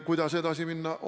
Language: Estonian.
Kuidas edasi minna?